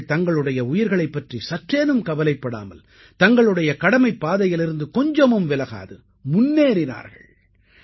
அவர்கள் தங்களுடைய உயிர்களைப் பற்றி சற்றேனும் கவலைப்படாமல் தங்களுடைய கடமைப் பாதையிலிருந்து கொஞ்சமும் விலகாது முன்னேறினார்கள்